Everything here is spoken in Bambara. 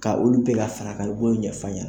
Ka olu bɛɛ ka fara kan i b'olu ɲɛf'a ɲɛna.